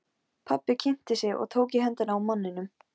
Pabbi kynnti sig og tók í höndina á manninum.